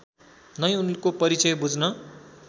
नै उनको परिचय बुझ्न